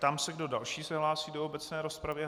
Ptám se, kdo další se hlásí do obecné rozpravy.